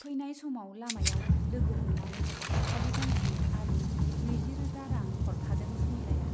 फैनाय समाव लामायाव लोगो हमनानै फालि गांसे आरो नैजिरोजा रां हरफादों सुमिलाया।